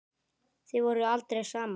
Þið voruð aldrei saman.